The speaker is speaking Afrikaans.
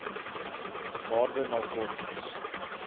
waarde na kortings